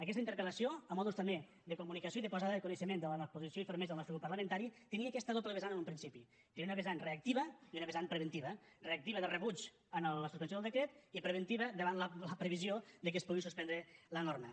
aquesta interpel·lació a manera també de comunicació i de posada de coneixement davant la posició i fermesa del nostre grup parlamentari tenia aquesta doble vessant en un principi tenia una vessant reactiva i una vessant preventiva reactiva de rebuig a la suspensió del decret i preventiva davant la previsió que es pugui suspendre la norma